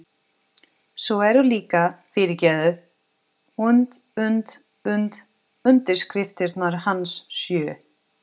Svo eru líka, fyrirgefðu, und und und undirskriftirnar hans sjö.